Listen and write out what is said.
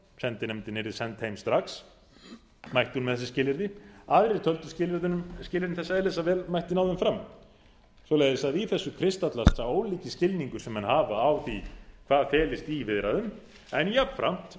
sendinefndin yrði send heim strax mætti hún með þessi skilyrði aðrir töldu skilyrðin þess eðlis að vel mætti ná þeim fram í þessu kristallast því sá ólíki skilningur sem menn hafa á því hvað felist í viðræðum en jafnframt